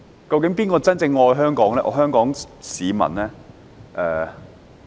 究竟誰人真正愛香港、愛香港市民？